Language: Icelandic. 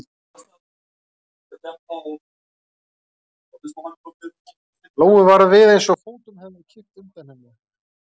Lóu varð við eins og fótunum hefði verið kippt undan henni.